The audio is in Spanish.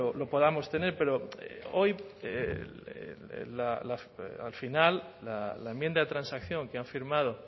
lo podamos tener pero hoy al final la enmienda de transacción que han firmado